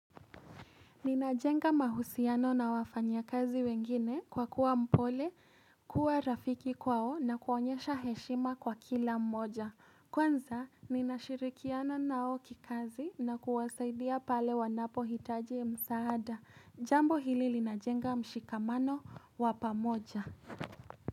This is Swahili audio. Ninajenga mahusiano na wafanya kazi wengine kwa kuwa mpole, kuwa rafiki kwao na kuonyesha heshima kwa kila mmoja. Kwanza, ninashirikiana nao kikazi na kuwasaidia pale wanapo hitaji msaada. Jambo hili linajenga mshikamano wa pamoja.